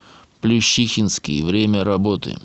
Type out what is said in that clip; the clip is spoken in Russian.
плющихинский время работы